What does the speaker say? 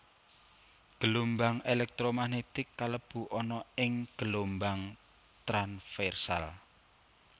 Gelombang elektro magnetik kalebu ana ing gelombang tranversal